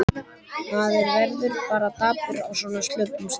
Maður verður bara dapur á svona slöppum stað.